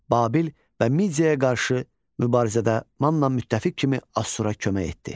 Babil və Midiyaya qarşı mübarizədə Manna müttəfiq kimi Assura kömək etdi.